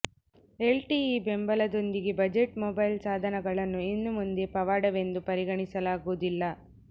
L T E ಬೆಂಬಲದೊಂದಿಗೆ budget mobile ಸಾಧನಗಳನ್ನು ಇನ್ನು ಮುಂದೆ ಪವಾಡವೆಂದು ಪರಿಗಣಿಸಲಾಗುವುದಿಲ್ಲ